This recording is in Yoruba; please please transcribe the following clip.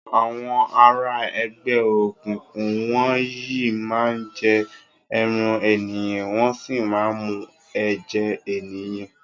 Awòn àrá ègbè ókúkú wòn yi má n jè èrán éniyán wòn si má n mú èjè éniyán